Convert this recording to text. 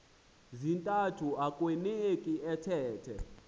zintathu akueuneki athethe